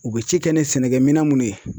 U be ci kɛ ni sɛnɛkɛminɛn munnu ye